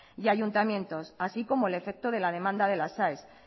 y ayuntamientos así como el efecto de la demanda de las aes y